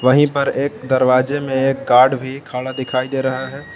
वहीं पर एक दरवाजे में एक गार्ड भी खड़ा दिखाई दे रहा है।